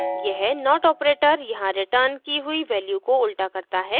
यह not operator यहाँ return की हुई value को उल्टा करता है